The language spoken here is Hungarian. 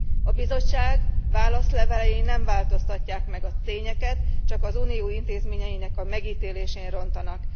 A Bizottság válaszlevelei nem változtatják meg a tényeket, csak az Unió intézményeinek a megítélésén rontanak.